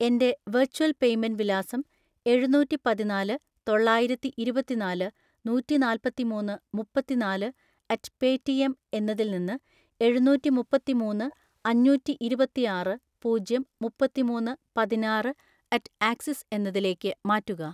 എൻ്റെ virtual payment വിലാസം എഴുനൂറ്റിപതിനാല് തൊള്ളായിരത്തിഇരുപത്തിനാല് നൂറ്റിനാല്പതിമൂന്ന് മുപ്പത്തിനാല് അറ്റ് പേറ്റിഎം എന്നതിൽ നിന്ന് എഴുനൂറ്റിമുപ്പത്തിമൂന്ന് അഞ്ഞൂറ്റിഇരുപത്തിആറ് പൂജ്യം മുപ്പത്തിമൂന്ന് പതിനാറ് അറ്റ് ആക്സിസ് എന്നതിലേക്ക് മാറ്റുക.